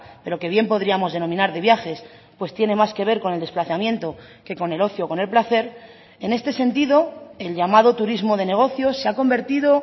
pero que bien podríamos denominar de viajes pues tiene más que ver con el desplazamiento que con el ocio o con el placer en este sentido el llamado turismo de negocio se ha convertido